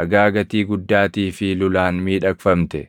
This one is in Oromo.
dhagaa gatii guddaatii fi lulaan miidhagfamte!